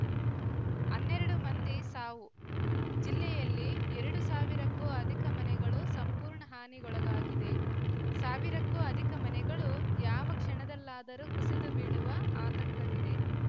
ಅನ್ನೆರಡು ಮಂದಿ ಸಾವು ಜಿಲ್ಲೆಯಲ್ಲಿ ಎರಡು ಸಾವಿರಕ್ಕೂ ಅಧಿಕ ಮನೆಗಳು ಸಂಪೂರ್ಣ ಹಾನಿಗೊಳಗಾಗಿದೆ ಸಾವಿರಕ್ಕೂ ಅಧಿಕ ಮನೆಗಳು ಯಾವ ಕ್ಷಣದಲ್ಲಾದರೂ ಕುಸಿದು ಬೀಳುವ ಆತಂಕವಿದೆ